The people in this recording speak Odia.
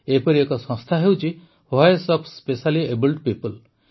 ଏପରି ଏକ ସଂସ୍ଥା ହେଉଛି ଭଏସ୍ ଅଫ୍ ସ୍ପେଶାଲିଏବୁଲ ପିପୁଲ